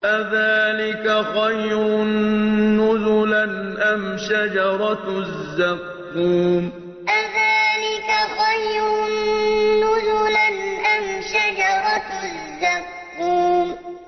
أَذَٰلِكَ خَيْرٌ نُّزُلًا أَمْ شَجَرَةُ الزَّقُّومِ أَذَٰلِكَ خَيْرٌ نُّزُلًا أَمْ شَجَرَةُ الزَّقُّومِ